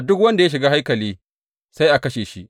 Duk wanda ya shiga haikali sai a kashe shi.